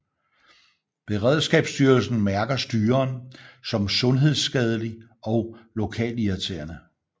Beredskabsstyrelsen mærker styren som sundhedsskadelig og lokalirriterende